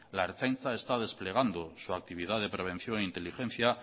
la ertzaintza está desplegando su actividad de prevención e inteligencia